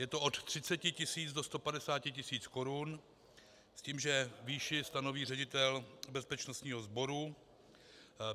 Je to od 30 tisíc do 150 tisíc korun s tím, že výši stanoví ředitel bezpečnostního sboru.